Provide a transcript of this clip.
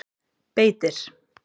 Beitir